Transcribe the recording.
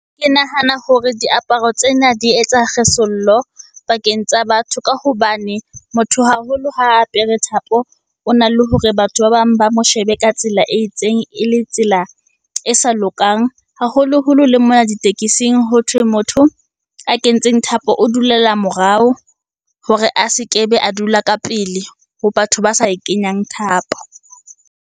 Ke nahana hore diaparo tsena di etsa kgesollo pakeng tsa batho. Ka hobane motho haholo ha a apere thapo, ona le hore batho ba bang ba mo shebe ka tsela e itseng e le tsela e sa lokang. Haholoholo le mona ditekesing, hothwe motho a kentseng thapo o dulela morao hore a se kebe a dula ka pele ho batho ba sa e kenyang thapo.